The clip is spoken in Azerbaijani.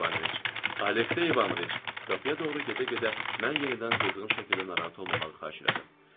Aleksey İvanoviç, qapıya doğru gedə-gedə mən yenidən qızğın şəkildə narahat olmamağı xahiş elədim.